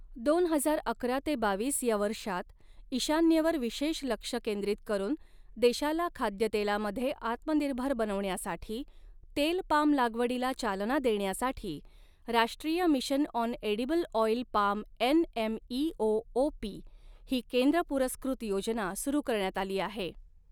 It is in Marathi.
दोन हजार अकरा ते बावीस या वर्षात, ईशान्येवर विशेष लक्ष केंद्रित करून देशाला खाद्यतेलामध्ये आत्मनिर्भर बनवण्यासाठी, तेल पाम लागवडीला चालना देण्यासाठी राष्ट्रीय mission on edible oil palm NMEO OP ही केंद्र पुरस्कृत योजना सुरू करण्यात आली आहे.